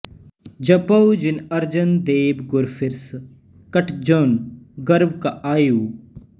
ਜਪਉ ਜਿਨ ਅਰਜਨ ਦੇਵ ਗੁਰੂ ਫਿਰਿ ਸ ਕਟ ਜੋਨਿ ਗਰਭ ਕਾ ਆਯਉ